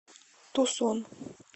тусон